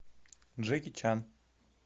джеки чан